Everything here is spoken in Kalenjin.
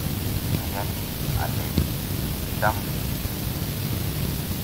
ayani ale kiicham mising'